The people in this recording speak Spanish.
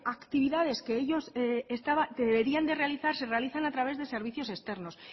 actividades que deberían de realizar se realizan a través de servicios externos